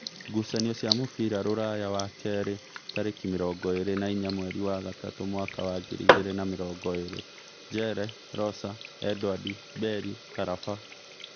Ngucanio cia mũbira Rūraya wakeeri tarĩki mĩrongo ĩrĩ na inya mweri wa gatatũ mwaka wa ngiri igĩrĩ na mĩrongo ĩrĩ: Njere, Rosa, Edwadi, Beli, karaba